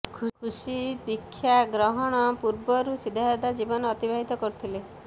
ଖୁସି ଦୀକ୍ଷା ଗ୍ରହଣ ପୂର୍ବରୁ ସାଦାସିଧା ଜୀବନ ଅତିବାହିତ କରୁଥିଲେ